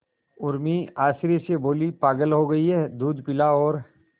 उर्मी आश्चर्य से बोली पागल हो गई है दूध पिला और